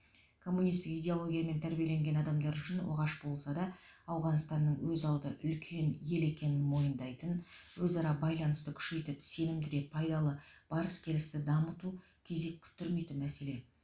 коммунисттік идеологиямен тәрбиеленген адамдар үшін оғаш болса да ауғанстанның өзалды үлкен ел екенін мойындайтын өзара байланысты күшейтіп сенімді де пайдалы барыс келісті дамыту кезек күттірмейтін мәселе